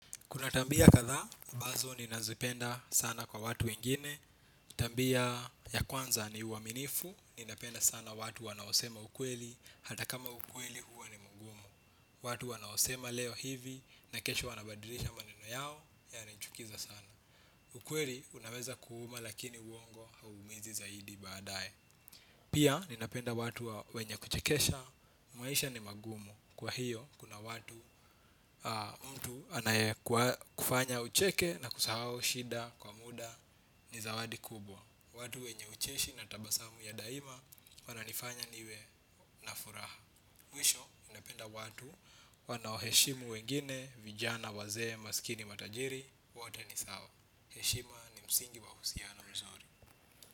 Kuna tabia kadhaa, ambazo ninazipenda sana kwa watu wengine. Tabia ya kwanza ni uaminifu, ninapenda sana watu wanaosema ukweli, hata kama ukweli huwa ni mgumu. Watu wanaosema leo hivi, na kesho wanabadilisha maneno yao, yanichukiza sana. Ukweli unaweza kuuma lakini uongo huumiza zaidi baadae. Pia ninapenda watu wenye kuchekesha, maisha ni magumu. Kwa hiyo kuna watu mtu anaye kufanya ucheke na kusahau shida kwa muda ni zawadi kubwa. Watu wenye ucheshi na tabasamu ya daima wananifanya niwe na furaha mwisho ninapenda watu wanaoheshimu wengine vijana wazee masikini matajiri wote nisawa. Heshima ni msingi wa uhusiano mzuri.